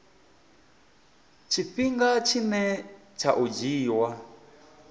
tshifhinga tshine tsha o dzhiiwa